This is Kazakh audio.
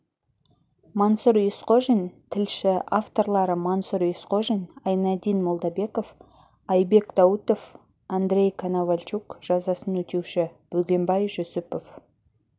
мансұр есқожин тілші авторлары мансұр есқожин айнадин молдабеков айбек даутов андрей коновальчук жазасын өтеуші бөгенбай жүсіпов